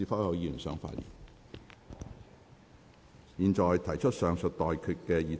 我現在向各位提出上述待決議題。